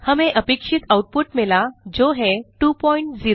हमें अपेक्षित आउटपुट मिला जो है 20